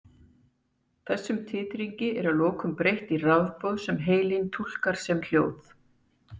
Þessum titringi er að lokum breytt í rafboð sem heilinn túlkar sem hljóð.